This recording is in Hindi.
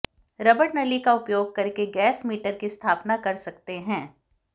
रबड़ नली का उपयोग करके गैस मीटर की स्थापना कर सकते हैं